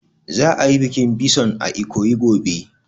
Za a yi bikin bison a Ikoyi gobe